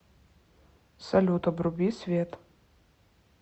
салют обруби свет